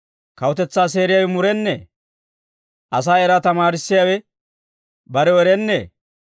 Kawutetsaa seeriyaawe murennee? Asaa eraa tamaarissiyaawe barew erennee?